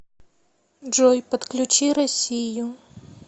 джой подключи россию